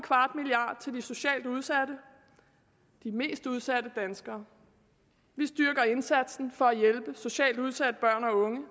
vi socialt udsatte de mest udsatte danskere vi styrker indsatsen for at hjælpe socialt udsatte børn og unge